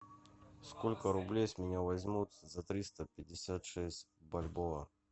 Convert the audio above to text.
сколько рублей с меня возьмут за триста пятьдесят шесть бальбоа